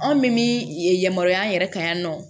Anw min ye yamaruya yɛrɛ kɛ yan nɔ